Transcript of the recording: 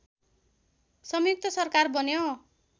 स‌ंयुक्त सरकार बन्यो